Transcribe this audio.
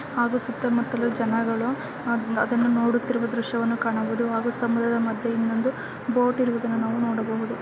ಹಾಗು ಸುತ್ತಮುತ್ತಲು ಜನಗಳು ಅದ್ನ ಅದನ್ನು ನೋಡುತ್ತಿರುವ ದೃಶ್ಯವನ್ನು ಕಾಣಬಹುದು ಹಾಗು ಸಮುದ್ರದ ಮದ್ಯೆ ಇನ್ನೊಂದು ಬೋಟ್ ಇರುವುದನ್ನ ನಾವು ನೋಡಬಹುದು.